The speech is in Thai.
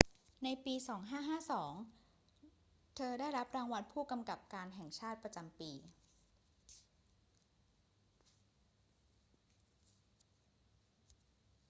ในปี พ. ศ. 2552 เธอได้รับรางวัลผู้กำกับการแห่งชาติประจำปี